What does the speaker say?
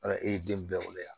Wala e ye den bɛɛ wolo yan